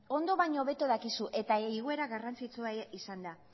ondo baino hobeto dakizu eta igoera garrantzitsua ere izan da